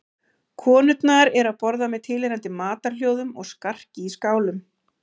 Konurnar eru að borða með tilheyrandi matarhljóðum og skarki í skálum.